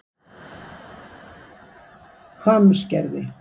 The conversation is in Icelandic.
Hvammsgerði